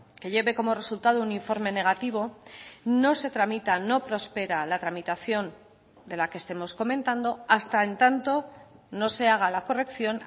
que lleve como resultado un informe negativo no se tramita no prospera la tramitación de la que estemos comentando hasta en tanto no se haga la corrección